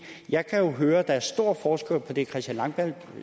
jeg kan jo høre at der er stor forskel på det christian langballe